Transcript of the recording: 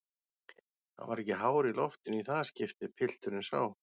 Hann var ekki hár í loftinu í það skiptið, pilturinn sá.